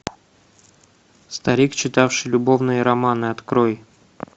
старик читавший любовные романы открой